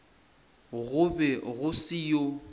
go be go se yoo